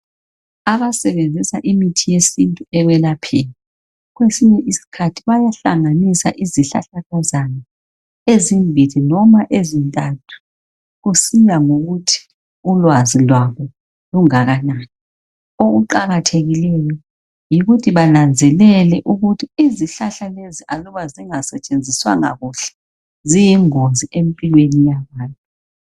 Abasebenzisa imithi yesintu ekwelapheni, kwesinye isikhathi bayahlanganisa izihlahlakazana ezimbili loma ezintathu kusiya ngokuthi ulwazi lwabo lungakanani. Okuqathekileyo yikuthi bananzelele ukuthi izihlahla lezi aluba singasetshenziswanga kuhle ziyingozi empilweni yabantu.